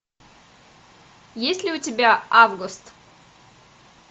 есть ли у тебя август